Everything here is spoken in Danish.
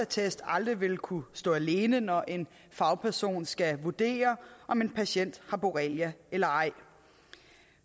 test aldrig vil kunne stå alene når en fagperson skal vurdere om en patient har borrelia eller ej